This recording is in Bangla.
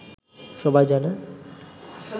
সবাই জানে